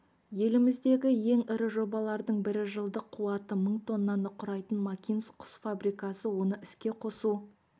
еліміздегі ең ірі жобалардың бірі жылдық қуаты мың тоннаны құрайтын макинск құс фабрикасы оны іске қосу